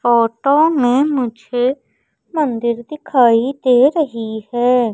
Photo में मुझे मंदिर दिखाई दे रही है।